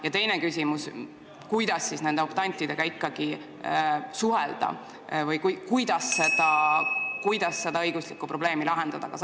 Ja teine küsimus: kuidas suhelda nende optantidega või mil viisil seda õiguslikku probleemi lahendada?